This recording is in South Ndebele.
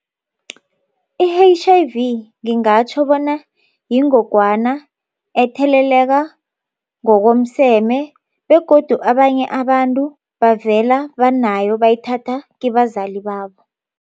I-H_I_V ngingatjho bona yingogwana etheleleka ngokomseme begodu abanye abantu bavela banayo bayithatha kibazali babo.